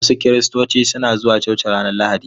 Wasu Kiristoci suna zuwa coci ranar Lahadi.